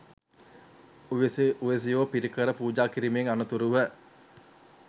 උවැසි උවැසියෝ පිරිකර පූජා කිරීමෙන් අනතුරුව